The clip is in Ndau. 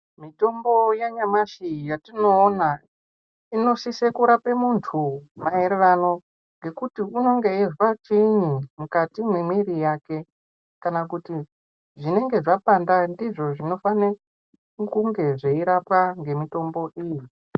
Mitombo yanyamashi yatinoona inosise kurape muntu maererano ngekuti unonga eizwa chiini mukati mwemiri yake kana kuti zvinenge zvapanda ndizvo zvinofana kunge zveirapwa ngemitombo iyi.